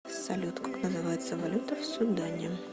салют как называется валюта в судане